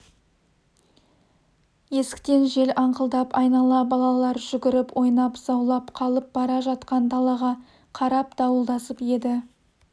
есіктен жел аңқылдап айнала балалар жүгіріп ойнап заулап қалып бара жатқан далаға қарап дуылдасып еді